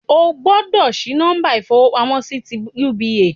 O gbọ́dọ̀ sí nọ́mbà ìfowópamọ́ sí ti UBA